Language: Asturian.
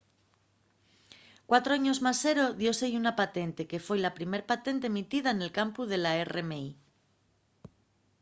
cuatro años más sero dióse-y una patente que foi la primera patente emitida nel campu de la rmi